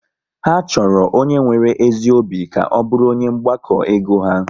Ha chọrọ onye nwere ezi obi ka ọ bụrụ onye mgbakọ ego ha